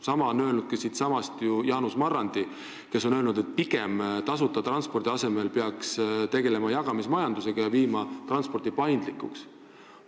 Sama on öelnud siitsamast ju ka Jaanus Marrandi, kes leiab, et tasuta transpordi asemel peaks tegelema pigem jagamismajandusega ja muutma transpordi paindlikuks.